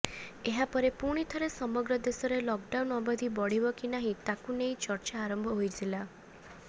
ଏହାପରେ ପୁଣିଥରେ ସମଗ୍ର ଦେଶରେ ଲକଡାଉନ୍ ଅବଧି ବଢିବ କି ନାହିଁ ତାକୁ ନେଇ ଚର୍ଚ୍ଚା ଆରମ୍ଭ ହୋଇଥିଲା